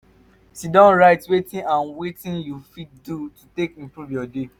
sidon write wetin and wetin yu fit do take improve yur day